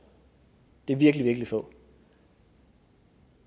det er virkelig virkelig få